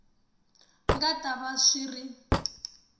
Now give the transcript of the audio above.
nga ta va swi ri